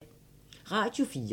Radio 4